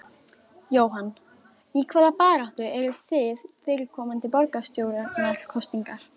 Jóhann: Í hvaða baráttu eruð þið fyrir komandi borgarstjórnarkosningar?